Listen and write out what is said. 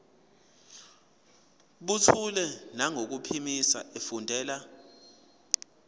buthule nangokuphimisa efundela